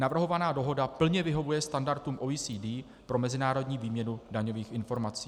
Navrhovaná dohoda plně vyhovuje standardům OECD pro mezinárodní výměnu daňových informací.